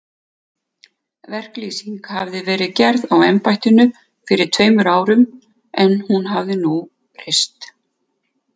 Verklýsing hafi verið gerð á embættinu fyrir tveimur árum, en hún hafi nú breyst.